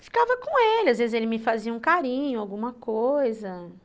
E ficava com ele, às vezes ele me fazia um carinho, alguma coisa.